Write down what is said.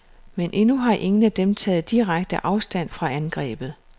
Men endnu har ingen af dem taget direkte afstand fra angrebet.